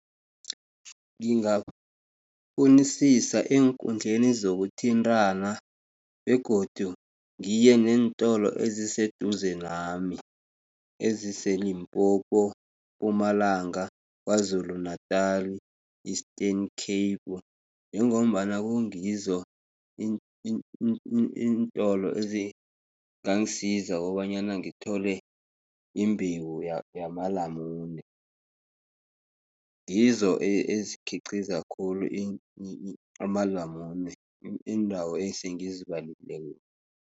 Ngingafunisisa eenkundleni zokuthintrana, begodu ngiyeneentolo eziseduze nami, ezise-Limpopo, Mpumalanga, Kwazulu Natali, Eastern Capu, njengombana kungizo iintolo ezingangisiza kobanyana ngithole imbewu yamalamune, ngizo ezikhiqiza khulu amalamune iindawo esengizibalileko.